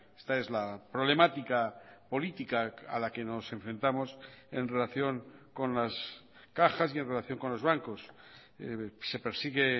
esta es la problemática política a la que nos enfrentamos en relación con las cajas y en relación con los bancos se persigue